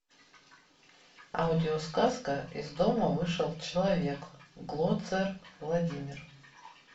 аудиосказка из дома вышел человек глоцер владимир